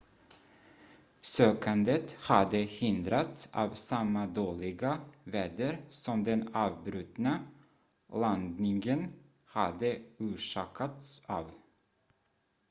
sökandet hade hindrats av samma dåliga väder som den avbrutna landningen hade orsakats av